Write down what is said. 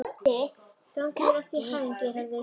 Gangi þér allt í haginn, Geirharður.